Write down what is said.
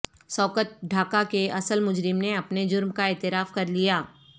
سقوط ڈھاکہ کے اصل مجرم نے اپنے جرم کا اعتراف کر لیا